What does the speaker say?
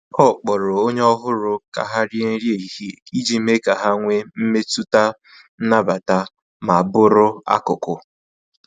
Ọ kpọrọ onye ọhụrụ ka ha rie nri ehihie iji mee ka ha nwee mmetụta nnabata ma bụrụ akụkụ.